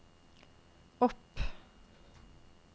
opp